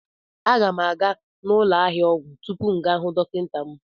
A ga m aga n'ụlọ ahịa ọgwụ tupu m gaa hụ dọkịta m